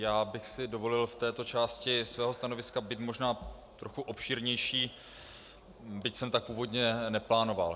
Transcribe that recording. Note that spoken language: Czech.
Já bych si dovolil v této části svého stanoviska být možná trochu obšírnější, byť jsem tak původně neplánoval.